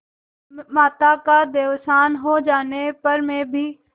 माता का देहावसान हो जाने पर मैं भी